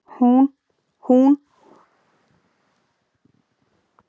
Hún var mjög mjög veik og var í lífshættu.